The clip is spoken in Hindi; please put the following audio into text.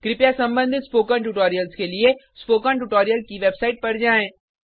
कृपया संबंधित स्पोकन ट्यूटोरियल्स के लिए स्पोकन ट्यूटोरियल की वेबसाइट पर जाएँ